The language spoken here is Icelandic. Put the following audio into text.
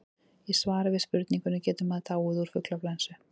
í svari við spurningunni getur maður dáið úr fuglaflensu